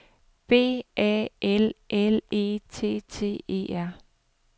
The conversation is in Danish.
B A L L E T T E R